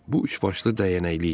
Bu üçbaşlı dəyənəkli idi.